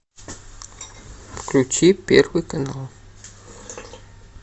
включи первый канал